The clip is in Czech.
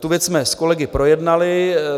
Tu věc jsme s kolegy projednali.